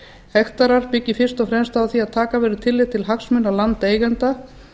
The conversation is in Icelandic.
hektarar byggir fyrst og fremst á því að taka verður tillit til hagsmuna landeigenda